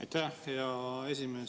Aitäh, hea esimees!